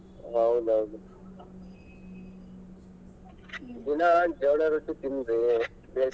ಹೌದೌದು ದಿನಾ ಜೋಳದ್ ರೊಟ್ಟಿ ತಿನ್ರೀ ಭೇಷ್ ಇರ್ತೈತಿ.